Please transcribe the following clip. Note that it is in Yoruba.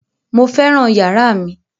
Mo fẹ́ràn yàrá mi